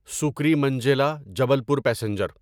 سکریمنجیلا Jabalpur passenger